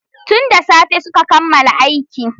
Tun da tsafe su ka kammala aiki.